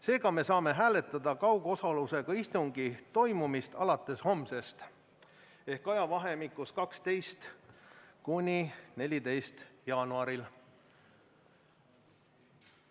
Seega, me saame hääletada kaugosalusega istungi toimumist alates homsest ehk ajavahemikus 12.–14. jaanuar.